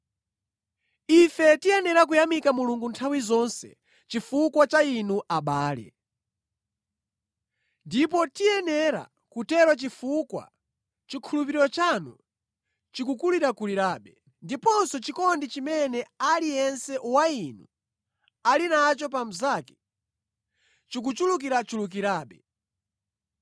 Ife tiyenera kuyamika Mulungu nthawi zonse chifukwa cha inu abale. Ndipo tiyenera kutero chifukwa chikhulupiriro chanu chikukulirakulirabe, ndiponso chikondi chimene aliyense wa inu ali nacho pa mnzake chikuchulukirachulukirabe.